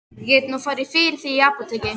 Ég get nú farið fyrir þig í apótekið.